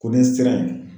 Ko ni sira in